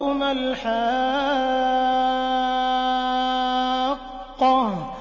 مَا الْحَاقَّةُ